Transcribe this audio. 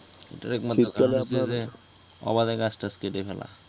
এইটার একমাত্র কারন হচ্ছে যে অবাধে গাছটাছ কেটে ফেলা ।